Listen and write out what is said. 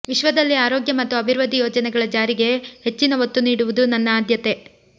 ವಿಶ್ವದಲ್ಲಿ ಆರೋಗ್ಯ ಮತ್ತು ಅಭಿವೃದ್ಧಿ ಯೋಜನೆಗಳ ಜಾರಿಗೆ ಹೆಚ್ಚಿನ ಒತ್ತು ನೀಡುವುದು ನನ್ನ ಆದ್ಯತೆ